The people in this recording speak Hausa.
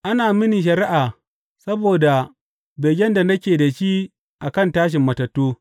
Ana mini shari’a saboda begen da nake da shi a kan tashin matattu.